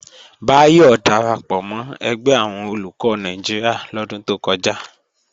Báyọ̀ darapọ̀ mọ́ ẹgbẹ́ àwọn Olùkọ́ Nàìjíríà lọ́dún tó kọjá